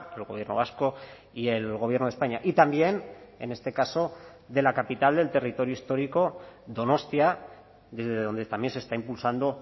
el gobierno vasco y el gobierno de españa y también en este caso de la capital del territorio histórico donostia desde donde también se está impulsando